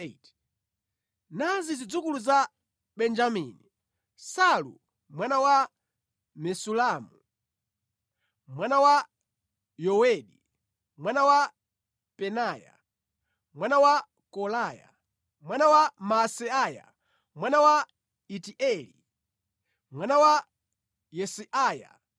Nazi zidzukulu za Benjamini: Salu mwana wa Mesulamu, mwana wa Yowedi, mwana wa Pedaya, mwana wa Kolaya, mwana wa Maaseiya, mwana wa Itieli, mwana wa Yesaiya.